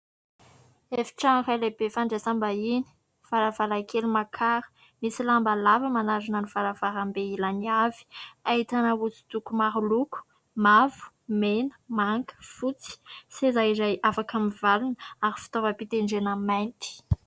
Efitrano iray lehibe fandraisam-bahiny, varavarankely makara, misy lamba lava manarona ny varavarambe ilany avy ; ahitana hosodoko maro loko : mavo, mena, manga, fotsy, seza izay afaka mivalona ary fitaovam-pitendrena mainty.